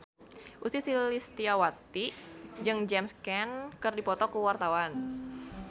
Ussy Sulistyawati jeung James Caan keur dipoto ku wartawan